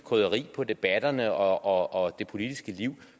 krydderi på debatterne og det politiske liv